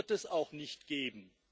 und das wird es auch nicht geben.